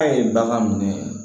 A ye bagan minɛ